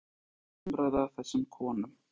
Róbert: Hvernig hjálpar þessi umræða þessum konum?